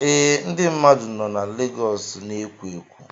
Ee, ndị mmadụ nọ na Legọs na-ekwo ekwo